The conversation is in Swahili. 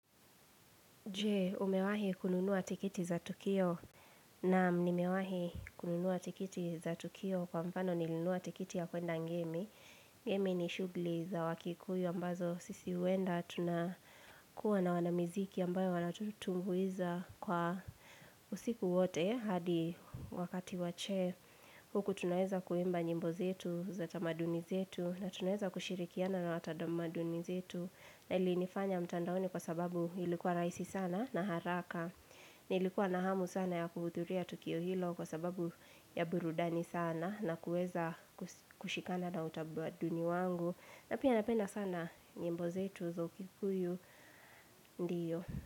Je, umewahi kununua tikiti za Tukio naam nimewahi kununuwa tikiti za Tukio kwa mfano nilinunua tikiti ya kwenda ngemi. Ngemi ni shugli za wakikuyu ambazo sisi huenda tunakua na wanamiziki ambayo walatu tumbuiza kwa usiku wote hadi wakati wa che. Huku tunaweza kuimba nyimbo zetu za tamaduni zetu na tunaweza kushirikiana na watadamaduni zetu na ilinifanya mtandaoni kwa sababu ilikuwa rahisi sana na haraka. Nilikuwa nahamu sana ya kuhudhuria Tukio Hilo kwa sababu ya burudani sana na kuweza kushikana na utabaduni wangu. Na pia napenda sana nyimbo zetu za ukikuyu ndiyo.